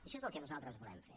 això és el que nosaltres volem fer